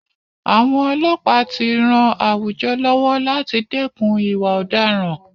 Àwọn ọlọ́pàá tí ràn àwùjọ lọ́wọ́ láti dẹ́kun ìwà ọ̀daràn.